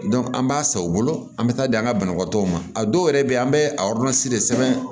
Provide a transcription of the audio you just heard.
an b'a san u bolo an bɛ taa di an ka banabagatɔw ma a dɔw yɛrɛ bɛ yen an bɛ a de sɛbɛn